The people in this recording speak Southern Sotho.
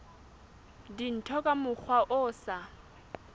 dintho ka mokgwa o sa